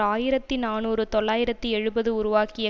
ஆயிரத்தி நாநூறு தொள்ளாயிரத்தி எழுபது உருவாக்கிய